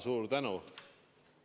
Suur tänu!